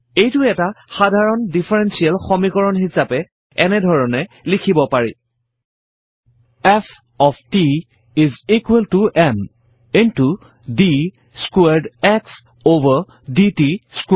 এইটো এটা সাধাৰণ ডিফাৰেনশিয়েল সমীকৰণ হিছাপে এনেধৰণে লিখিব পাৰি F of t is equal to m into d squared x over d t squared